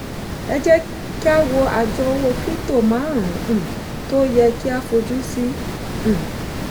ẹ jẹ́ ká wo àjọ owó krípútò márùn-ún um tí ó yẹ kí a fojú um sí.